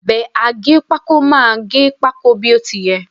Ọ̀bẹ aggépákó máà gẹ pákó bí ó ti yẹ.